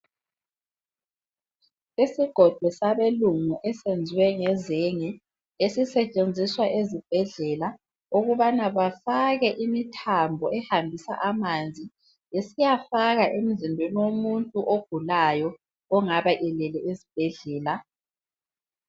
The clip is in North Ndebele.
Isigodo sabelungu esenziwe ngezenge esisetshenziswa ezibhedlela ukubana befake imithambo ehambisa amanzi isiyafaka emzimbeni womuntu ogulayo ongaba elele esibhedlela.